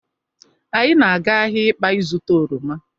Anyị na-aga ahịa Ịkpa ịzụta oroma.